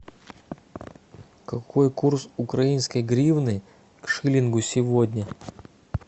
какой курс украинской гривны к шиллингу сегодня